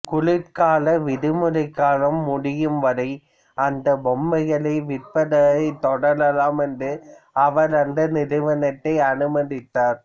குளிர்கால விடுமுறைக் காலம் முடியும்வரை அந்தப் பொம்மைகளை விற்பதைத் தொடரலாம் என்று அவர் அந்த நிறுவனத்தை அனுமதித்தார்